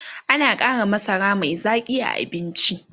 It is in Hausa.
ana Kara masara Mai Zaƙi a abinci